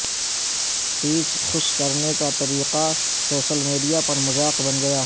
پیچ خشک کرنے کا طریقہ سوشل میڈیا پر مذاق بن گیا